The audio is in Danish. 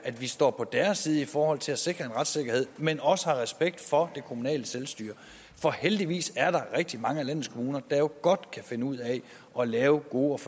at vi står på deres side i forhold til at sikre en retssikkerhed men også har respekt for det kommunale selvstyre for heldigvis er der rigtig mange af landets kommuner der jo godt kan finde ud af at lave gode